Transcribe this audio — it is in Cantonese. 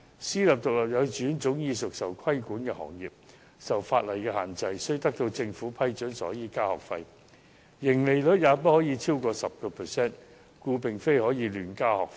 私營獨立幼稚園早已是被規管行業，受法例限制，必須獲得政府批准才可增加學費，而且盈利率不可超過 10%， 所以不能夠亂加學費。